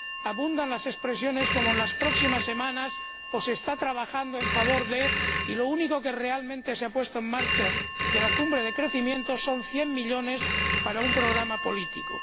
abundan las expresiones como en las próximas semanas o se está trabajando en favor de, y lo único que realmente se ha puesto en marcha de la cumbre de crecimiento son 100 millones para un programa político.